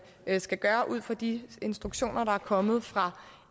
skal gøre ud fra de instruktioner der er kommet fra